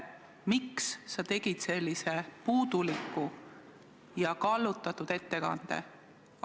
Miks sa tegid sellise puuduliku ja kallutatud ettekande?